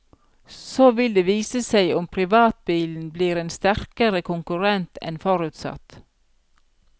Så vil det vise seg om privatbilen blir en sterkere konkurrent enn forutsatt.